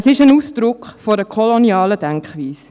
Dies ist Ausdruck einer kolonialen Denkweise.